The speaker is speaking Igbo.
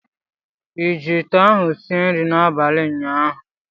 Ị ji ite ahụ sie nri n'abalị ụnyaahụ?